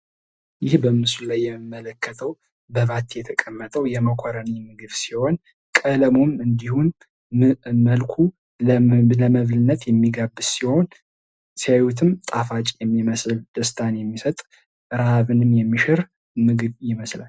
ይህ በምስሉ ላይ የምንመለክተው በባቲ የተቀመጠው የመኮረኒ ምግብ ሲሆን ቀለሙም እንዲሁም መልኩ ለመብልነት የሚቀርብ ሲሆን ሲያዩትም ጣፋጭ የሚመስል ደስታን የሚሰጥ ረሃብንም የሚሽር ምግብ ይመስላል።